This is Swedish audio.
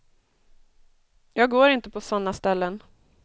Jag går inte på sådana ställen.